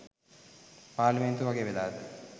පාර්ලිමේන්තුව වගේ වෙලාද?